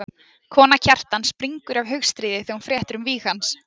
Kona Kjartans springur af hugstríði þegar hún fréttir um víg hans.